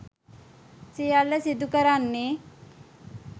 සියල්ල සිදු කරන්නේ